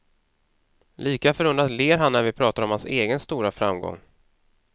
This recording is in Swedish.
Lika förundrat ler han när vi pratar om hans egen stora framgång.